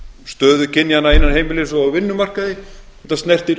stöðu kynjanna innan heimilis og á vinnumarkaði þetta snertir